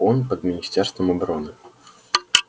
он под министерством обороны